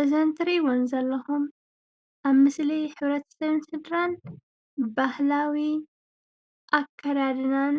እዘን እትሪእዎ ዘለኩም ኣብ ምስሊ ሕብረተሰብን ስድራን ባህላዊ ኣከዳድናን